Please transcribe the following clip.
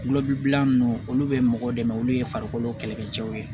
Kulobilan ninnu olu bɛ mɔgɔw dɛmɛ olu ye farikolo kɛlɛkɛcɛw ye